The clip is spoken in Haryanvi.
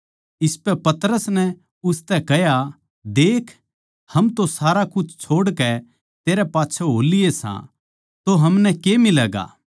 इसपै पतरस नै उसतै कह्या देख हम तो सारा कुछ छोड़कै तेरै पाच्छै हो लिए सा तो हमनै के मिलैगा